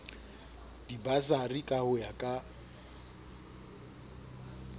dibasari ka ho ya ka